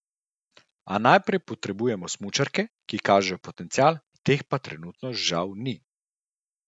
A najprej potrebujemo smučarke, ki kažejo potencial, teh pa trenutno žal ni.